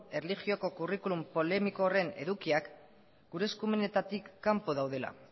erlijioko curriculum polemiko horren edukiak gure eskumenetatik kanpo daudela